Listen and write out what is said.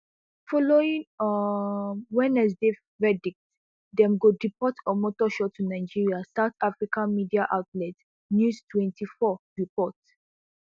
following um wednesdays verdict dem go deport omotoso to nigeria south african media outlet newstwenty-four report